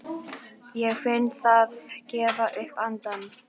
Ég finn það gefa upp andann.